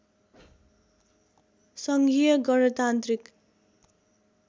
सङ्घीय गणतान्त्रिक